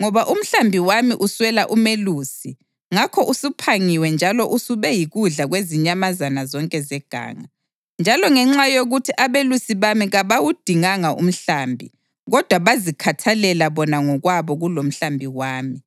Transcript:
ngoba umhlambi wami uswela umelusi ngakho usuphangiwe njalo usube yikudla kwezinyamazana zonke zeganga, njalo ngenxa yokuthi abelusi bami kabawudinganga umhlambi kodwa bazikhathalela bona ngokwabo kulomhlambi wami,